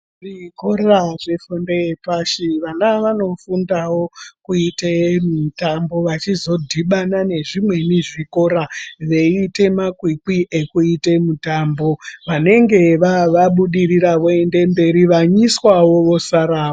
Zvikora zvefundo yepashi vana vano fundawo kuite mitambo vachizodhibana nezvimweni zvikora veiite makwikwi ekuita mitambo vanemge vabudirira voenda mberi vanyiswa wo vosara....